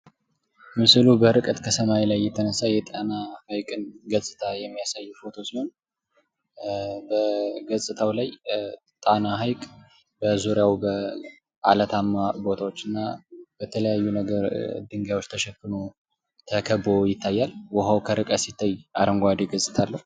ምስሉ በርቀት ሰማይ ላይ የተነሳ የጣና ሃይቅን ገጽታ የሚያሳይ ፎቶው ሲሆን በገጽታ ላይ ጣና ሐይቅ በዙሪያው በዓለታማ ቦታዎችና በተለያዩ ነገሮች ድንጋዮች ተሽፍኖ ተከብቦ ይታያል። ውሀው ከርቀት ሲታይ አረንጓዴ ገጽታ አለው።